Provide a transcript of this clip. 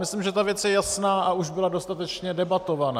Myslím, že ta věc je jasná a už byla dostatečně debatovaná.